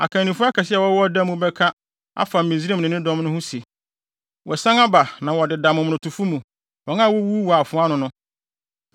Akannifo akɛse a wɔwɔ ɔda mu bɛka afa Misraim ne ne dɔm ho se, ‘Wɔasian aba na wɔdeda momonotofo mu, wɔn a wowuwuu wɔ afoa ano no.’